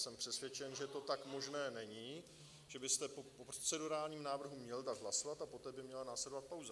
Jsem přesvědčen, že to tak možné není, že byste po procedurálním návrhu měl dát hlasovat, a poté by měla následovat pauza.